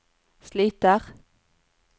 sliter